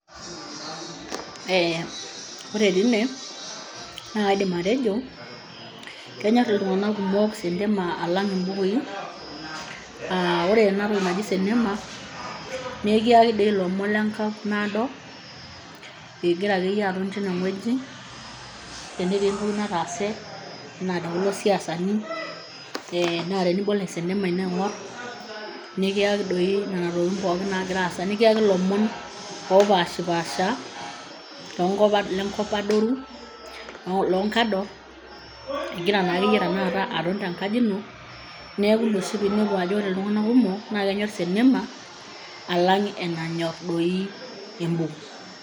Ee ore tine, naa kaidim atejo kenyorr iltung'anak kumok sentema alangu imbukui, aa ore ena toki naji sentema naa ekiyaki doi ilomon le nkop naado igara akeyie aton teine oji tenetii entoki nataase enaa tekulo siasani, ee naa tenibol esenema ino aingorr, nikiyaki doi nena tokitin pookin naagira aasa.,nikiyaki ilomon oopashiipaasha lengop adoru loongador ingira ake aton tenkaji ino, naa ina oshi peedol iltunganak kumok naa kenyorr senema alang' enanyor doi embuku.